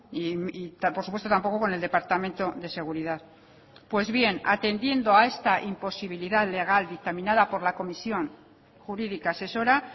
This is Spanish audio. y por supuesto tampoco con el departamento de seguridad pues bien atendiendo a esta imposibilidad legal dictaminada por la comisión jurídica asesora